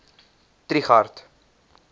trigardt